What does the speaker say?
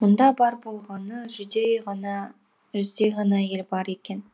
мұнда бар болғаны жүздей ғана әйел бар екен